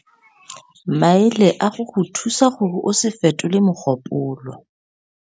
Maele a go go thusa gore o se fetole mogopolo.